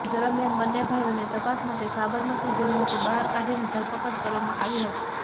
દરમિયાનમાં બંન્ને ભાઈઓને તપાસ માટે સાબરમતી જેલમાંથી બહાર કાઢીને ધરપકડ કરવામાં આવી હતી